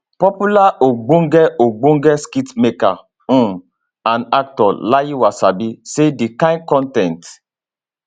popular ogbonge ogbonge skitmaker um and actor layi wasabi say di kain con ten t